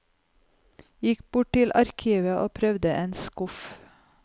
Gikk bort til arkivet og prøvde en skuff.